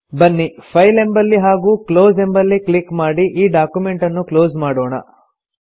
ಬನ್ನಿ ಫೈಲ್ ಎಂಬಲ್ಲಿ ಹಾಗೂ ಕ್ಲೋಸ್ ಎಂಬಲ್ಲಿ ಕ್ಲಿಕ್ ಮಾಡಿ ಈ ಡಾಕ್ಯುಮೆಂಟನ್ನು ಕ್ಲೋಸ್ ಮಾಡೋಣ